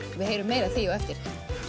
við heyrum meira af því á eftir